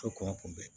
kɔngɔ kunbɛ